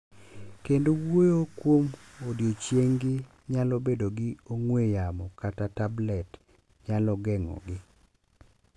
Kendo wuoyo kuom odiechieng’gi, nyalo bedo ni ong'we yamo kata tablet nyalo geng’ogi.